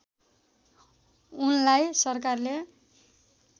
उनलाई सरकारले